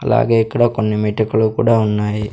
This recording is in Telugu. అలాగే ఇక్కడ కొన్ని మెటికలు కూడా ఉన్నాయి.